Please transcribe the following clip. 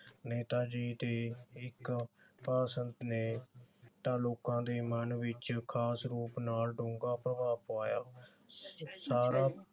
ਨੇਤਾ ਜੀ ਤੇ ਇਕ ਸੰਤ ਨੇ ਤਾਂ ਲੋਕਾਂ ਦੇ ਮਨ ਵਿਚ ਖਾਸ ਰੂਪ ਨਾਲ ਡੂੰਘਾ ਪ੍ਰਭਾਵ ਪਵਾਇਆ। ਸਾਰਾ